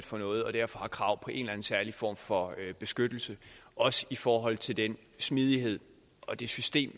for noget og derfor har krav på en eller anden særlig form for beskyttelse også i forhold til den smidighed og det system